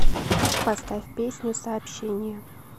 поставь песню сообщение